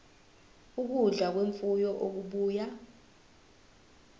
ukudla kwemfuyo okubuya